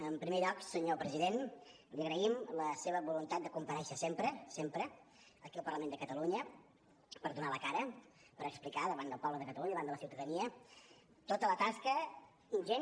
en primer lloc senyor president li agraïm la seva voluntat de comparèixer sempre sempre aquí al parlament de catalunya per donar la cara per explicar davant del poble de catalunya i davant la ciutadania tota la tasca ingent